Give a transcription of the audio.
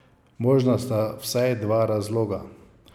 Možna sta vsaj dva razloga.